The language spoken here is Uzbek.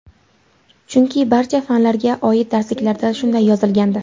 Chunki barcha fanlarga oid darsliklarda shunday yozilgandi.